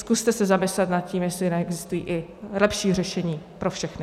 Zkuste se zamyslet nad tím, jestli neexistují i lepší řešení pro všechny.